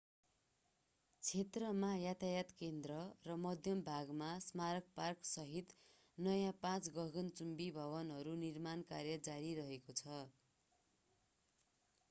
क्षेत्रमा यातायात केन्द्र र मध्य भागमा स्मारक पार्कसहित नयाँ पाँच गगनचुम्बी भवनहरूको निर्माण कार्य जारी रहेको छ